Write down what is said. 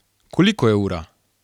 Koliko je ura?